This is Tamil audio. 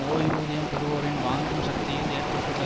ஓய்வூதியம் பெறுவோரின் வாங்கும் சக்தியில் ஏற்பட்டுள்ள